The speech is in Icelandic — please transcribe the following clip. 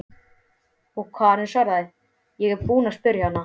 Og Karen svaraði: Ég er búin að spyrja hana.